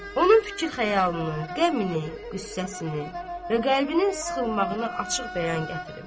Onun fikir-xəyalını, qəmini, qüssəsini və qəlbinin sıxılmağını açıq bəyan gətirim.